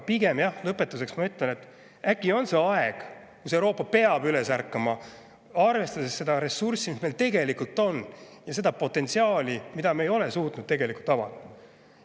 Aga lõpetuseks ma ütlen, et on aeg, kui Euroopa peab üles ärkama, arvestades seda ressurssi, mis meil tegelikult on, ja seda potentsiaali, mida me ei ole suutnud.